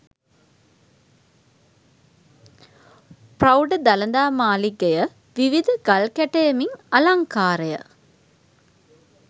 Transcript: පෞඪ දළදා මාළිගය විවිධ ගල් කැටයමින් අලංකාරය